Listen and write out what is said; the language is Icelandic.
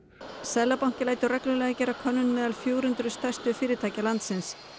seðlabankinn lætur reglulega gera könnum meðal fjögur hundruð stærstu fyrirtækja landins